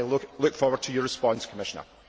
I look forward to your response, Commissioner.